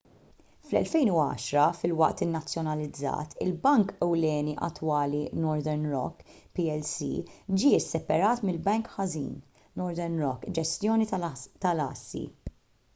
fl-2010 filwaqt li nazzjonalizzat il-bank ewlieni attwali northern rock plc ġie sseparat mill- bank ħażin” northern rock ġestjoni tal-assi